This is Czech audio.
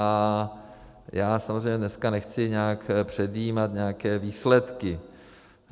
A já samozřejmě dneska nechci nějak předjímat nějaké výsledky.